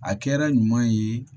A kɛra ɲuman ye